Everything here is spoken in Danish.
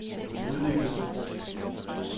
udviklet